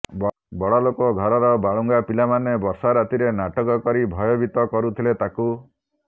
ବଡ଼ଲୋକ ଘରର ବାଳୁଙ୍ଗା ପିଲାମାନେ ବର୍ଷା ରାତିରେ ନାଟକ କରି ଭୟଭୀତ କରୁଥିଲେ ତାକୁ